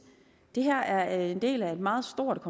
det her er en del af et meget stort